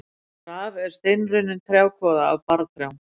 Raf er steinrunnin trjákvoða af barrtrjám.